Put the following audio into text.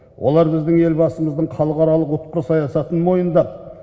олар біздің елбасымыздың халықаралық ұтқыр саясатын мойындап